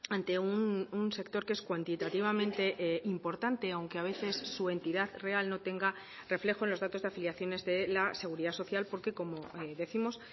ante un sector que es cuantitativamente importante aunque a veces su entidad real no tenga reflejo en los datos de afiliaciones de la seguridad social porque como décimos